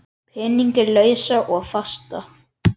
Peninga lausa og fasta?